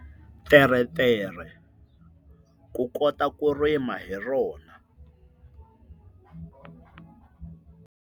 Teretere ku kota ku rima hi rona.